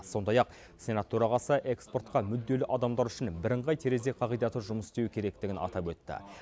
сондай ақ сенат төрағасы экспортқа мүдделі адамдар үшін бірыңғай терезе қағидаты жұмыс істеуі керектігін атап өтті